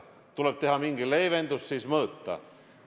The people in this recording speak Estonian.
Tuleb teha mingi leevendus ja siis mõõta.